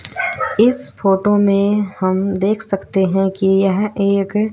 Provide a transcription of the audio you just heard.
इस फोटो हम देख सकते कि यह एक--